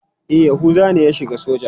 E, Yahuza ne ya shiga soja.